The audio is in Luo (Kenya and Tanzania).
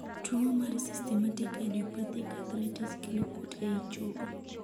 tuo mar systemic idiopathic arthritis kelo kuot ei chogo